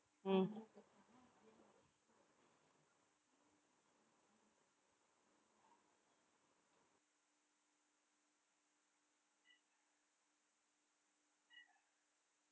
உம்